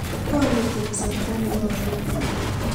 Konyiti kasarta ne bo olikyik